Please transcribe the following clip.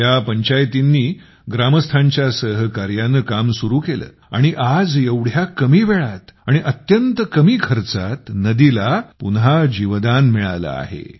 येथील पंचायतींनी ग्रामस्थांच्या सहकार्याने काम सुरू केले आणि आज एवढ्या कमी वेळात आणि अत्यंत कमी खर्चात नदीला पुन्हा जीवदान मिळाले आहे